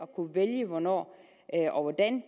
kunne vælge hvornår og hvordan